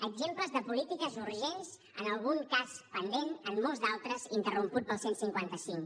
exemples de polítiques urgents en algun cas pendent en molts d’altres interromputs pel cent i cinquanta cinc